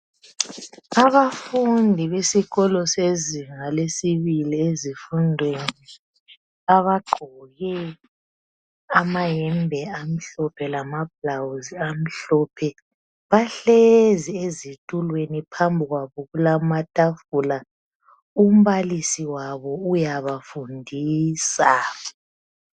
Abafundi besikolo sezinga lesibili ezifundweni, abagqoke amayembe amhlophe lamablawuzi amhlophe. Bahlezi ezitulweni phambi kwabo kulamatafula, umbalisi wabo uyabafundisa.